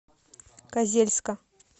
козельска